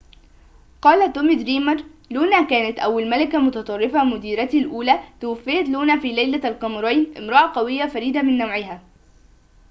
قال تومي دريمر لونا كانت أول ملكة متطرفة مديرتي الأولى توفيت لونا في ليلة القمرين امرأة قوية فريدة من نوعها